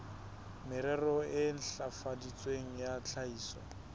merero e ntlafaditsweng ya tlhahiso